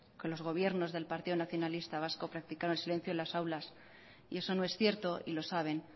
que los gobiernos del partido nacionalista vasco practicaron silencio en las aulas eso no es cierto y lo saben